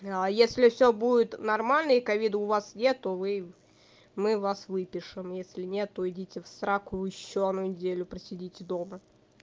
а если все будет нормально и ковида у вас нет то вы мы вас выпишем если нет то идите в сраку ещё одну неделю посидите дома